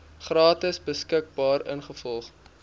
gratis beskikbaar ingevolge